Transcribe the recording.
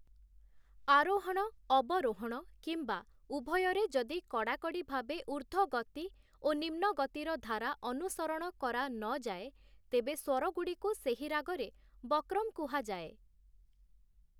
ଆରୋହଣ, ଅବରୋହଣ କିମ୍ବା ଉଭୟରେ ଯଦି କଡ଼ାକଡ଼ି ଭାବେ ଊର୍ଦ୍ଧ୍ଵ ଗତି ଓ ନିମ୍ନଗତିର ଧାରା ଅନୁସରଣ କରାନଯାଏ, ତେବେ ସ୍ୱରଗୁଡ଼ିକୁ ସେହି ରାଗରେ ବକ୍ରମ୍ କୁହାଯାଏ ।